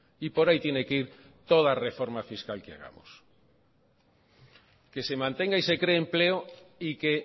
y por ahí tiene que ir toda reforma fiscal que hagamos que se mantenga y se cree empleo y que